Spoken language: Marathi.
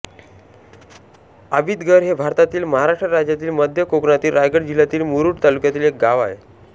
आबितघर हे भारतातील महाराष्ट्र राज्यातील मध्य कोकणातील रायगड जिल्ह्यातील मुरूड तालुक्यातील एक गाव आहे